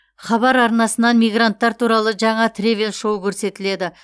хабар арнасынан мигранттар туралы жаңа тревел шоу көрсетіледі